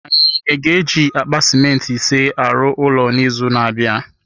Anyị na-eji akpa simenti ise arụ ụlọ n’izu na-abịa